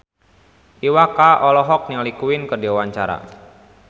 Iwa K olohok ningali Queen keur diwawancara